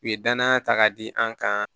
U ye danaya ta k'a di an kan